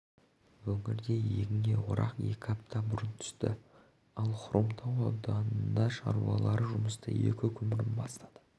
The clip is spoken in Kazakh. өңірде егінге орақ екі апта бұрын түсті ал хромтау ауданының шаруалары жұмысты екі күн бұрын бастады